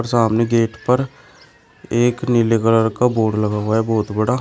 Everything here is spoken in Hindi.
सामने गेट पर एक नीले कलर का बोर्ड लगा हुआ है बहोत बड़ा।